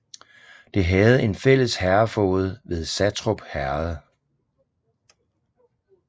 Det havde en fælles herredfoged med Satrup Herred